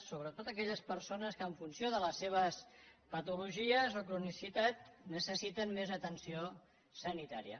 sobretot aquelles persones que en funció de les seves patologies o cronicitat necessiten més atenció sanitària